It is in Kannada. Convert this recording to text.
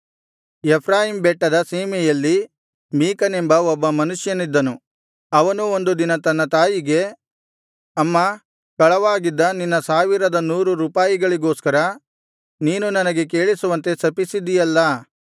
ಎಫ್ರಾಯೀಮ್ ಬೆಟ್ಟದ ಸೀಮೆಯಲ್ಲಿ ಮೀಕನೆಂಬ ಒಬ್ಬ ಮನುಷ್ಯನಿದ್ದನು ಅವನು ಒಂದು ದಿನ ತನ್ನ ತಾಯಿಗೆ ಅಮ್ಮಾ ಕಳವಾಗಿದ್ದ ನಿನ್ನ ಸಾವಿರದ ನೂರು ರೂಪಾಯಿಗಳಿಗೋಸ್ಕರ ನೀನು ನನಗೆ ಕೇಳಿಸುವಂತೆ ಶಪಿಸಿದಿಯಲ್ಲಾ